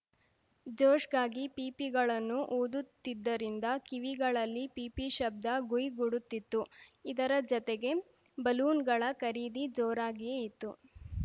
ಜೋಷ್‌ಗಾಗಿ ಪೀಪಿಗಳನ್ನು ಊದುತ್ತಿದ್ದರಿಂದ ಕಿವಿಗಳಲ್ಲಿ ಪೀಪಿ ಶಬ್ದ ಗುಂಯ್‌ ಗುಡುತ್ತಿತ್ತು ಇದರ ಜತೆಗೆ ಬಲೂನ್‌ಗಳ ಖರೀದಿ ಜೋರಾಗಿಯೇ ಇತ್ತು